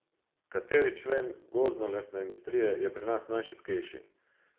Kateri člen gozdnolesne industrije je pri nas najšibkejši?